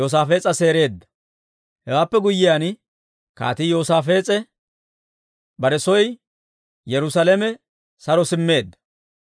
Hewaappe guyyiyaan, Kaatii Yoosaafees'e bare soo Yerusaalame saro simmeedda.